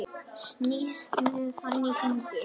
Snýst með hann í hringi.